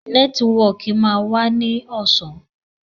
Nẹ́tíwọkì máa wá ní ọ̀sán